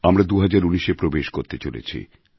আমরা ২০১৯এ প্রবেশ করতে চলেছি